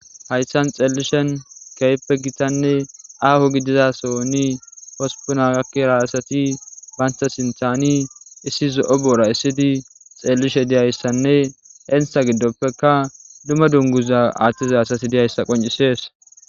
Hayssan xeellishen keyeppe gitanne aaho gidizasonni hospuna gakkira asati baynta sinthani issi zo7o boora issidi xeellishe diyayssanne entha giddoppeka duma dunguza aaththiza asati diyayssa qoncisees